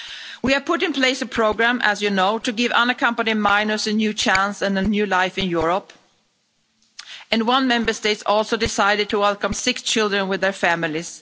We have put in place a programme as you know to give unaccompanied minors a new chance and a new life in Europe, and one Member State also decided to welcome sick children with their families.